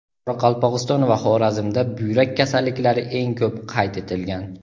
Qoraqalpog‘iston va Xorazmda buyrak kasalliklari eng ko‘p qayd etilgan.